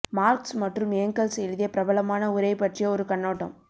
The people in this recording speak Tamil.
மார்க்ஸ் மற்றும் ஏங்கெல்ஸ் எழுதிய பிரபலமான உரை பற்றிய ஒரு கண்ணோட்டம்